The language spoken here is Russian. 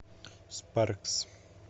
спаркс